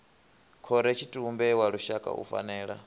khorotshitumbe wa lushaka u fanela